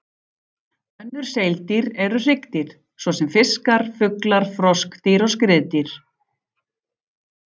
Önnur seildýr eru hryggdýr, svo sem fiskar, fuglar, froskdýr og skriðdýr.